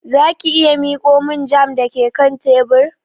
Za ki iya miƙo min jam da ke kan tebur?